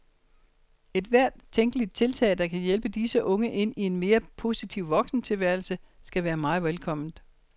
Ethvert tænkeligt tiltag, der kan hjælpe disse unge ind i en mere positiv voksentilværelse, skal være meget velkomment.